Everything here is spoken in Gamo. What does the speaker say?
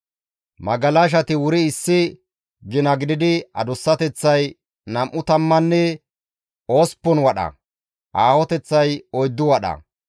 Magalashati wuri issi gina gididi adussateththay nam7u tammanne osppun wadha; aahoteththay oyddu wadha.